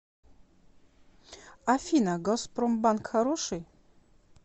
афина газпромбанк хороший